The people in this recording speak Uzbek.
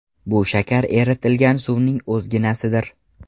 Bu shakar eritilgan suvning o‘zginasidir.